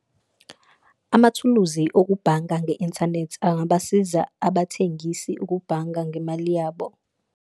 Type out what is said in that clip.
Amathuluzi okubhanga nge-inthanethi angabasiza abathengisi ukubhanga ngemali yabo.